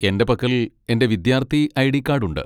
എന്റെ പക്കൽ എന്റെ വിദ്യാർത്ഥി ഐ.ഡി. കാഡ് ഉണ്ട്.